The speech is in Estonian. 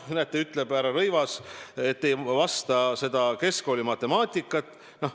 Näete, ütleb härra Rõivas, nad ei valda keskkoolimatemaatikat.